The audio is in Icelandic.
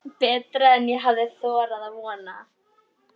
Betra en ég hafði þorað að vona